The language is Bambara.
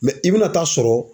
i be na taa sɔrɔ